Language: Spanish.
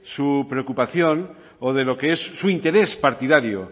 su preocupación o de lo que es su interés partidario